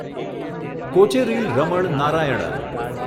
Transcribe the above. Kocheril Raman Narayanan